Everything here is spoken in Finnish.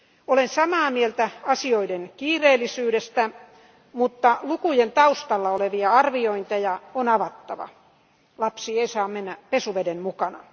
Olen samaa mieltä asioiden kiireellisyydestä, mutta lukujen taustalla olevia arviointeja on avattava. Lapsi ei saa mennä pesuveden mukana.